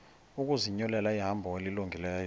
ukuzinyulela ihambo elungileyo